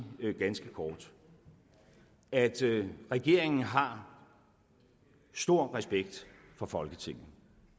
ganske kort at regeringen har stor respekt for folketinget